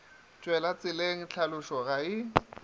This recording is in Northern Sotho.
tšwele tseleng tlhalošo ga e